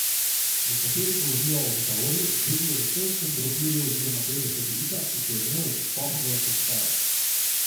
Nekateri govorijo o meteorju, drugi o vesoljskem drobirju oziroma delu satelita, ki se je vnel ob vstopu v atmosfero.